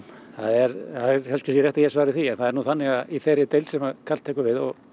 það er kannski rétt að ég svari því það er nú þannig að í þeirri deild sem Karl tekur við og